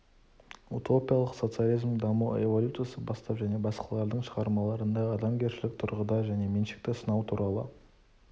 утопиялық социализмнің даму эволюциясы бастап және басқалардың шығармаларында адамгершілік тұрғыда жеке меншікті сынау туралы